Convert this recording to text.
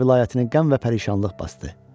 vilayətini qəm və pərişanlıq basdı.